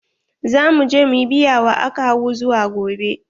Za mu je mu ƴi biya wa akawu zuwa gobe.